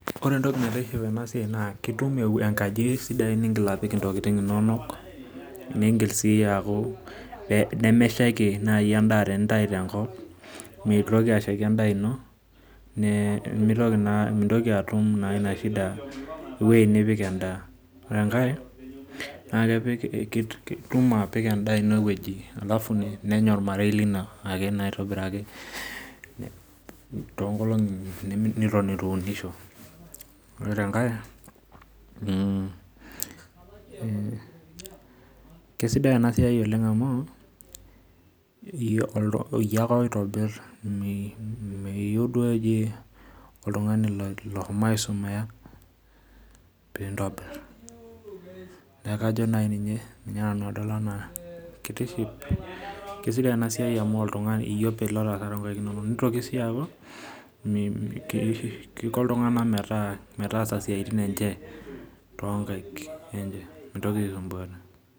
Ore entoki naitiship tena siai naa itum enkaji sidai ningil nipik ntokiting inonok, nemeshaiki naaji endaa tenintayu tenkop ,meitoki ashaiki naa endaa ino mintoki atum ina shida eweji nipik endaa. ore enkae itum atipika endaa ino eweji alafu nenya ormarei lino aitobiraki toonkolongi neitu iunisho. ore tenkae keisidai ena siai amu iyie ake oitobirie meyieu sii oltungani eji oshomo aisumiya pee intobir neeku kajo doi ninye amu iyei openy olo aas toonkaek inonok. nitoki sii aku Kiko iltunganak metaasa siaitin enche toonkaek enye mitoki aisumbuaaya .